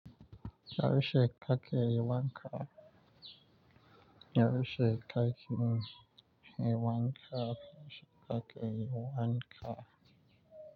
Yaushe ka ke yi wanka? Yaushe ka ki yin wanka? Yaushe ka ke yin wanka?